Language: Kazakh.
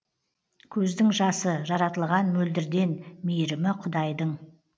көздің жасы жаратылған мөлдірден мейірімі құдайдың